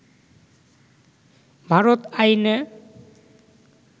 ভারত আইনে